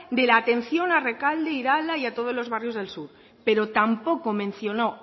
de la atención a rekalde irala y todos los barrios del sur pero tampoco mencionó